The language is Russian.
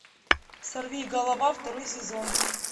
сорви голова второй сезон